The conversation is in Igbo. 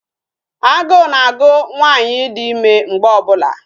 Agụ na-agụ nwaanyị dị ịme mgbe ọ bụla